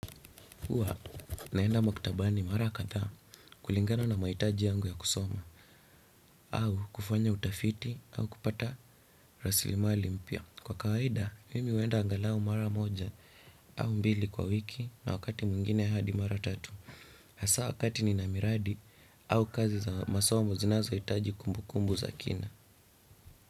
Huwa, naenda maktabani mara kadhaa kulingana na mahitaji yangu ya kusoma au kufanya utafiti au kupata raslimali mpya. Kwa kawaida, mimi huenda angalau mara moja au mbili kwa wiki na wakati mwengine hadi mara tatu. Asa wakati nina miradi au kazi za masomo zinazohitaji kumbukumbu za kina.